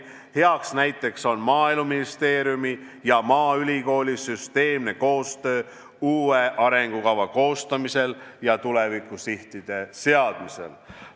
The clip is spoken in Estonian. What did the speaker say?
Heaks näiteks on Maaeluministeeriumi ja maaülikooli süsteemne koostöö uue arengukava koostamisel ja tulevikusihtide seadmisel.